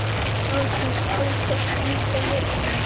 Hafdís Alda endaði önnur.